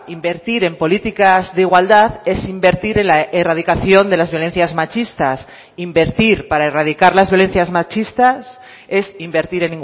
invertir en políticas de igualdad es invertir en la erradicación de las violencias machistas invertir para erradicar las violencias machistas es invertir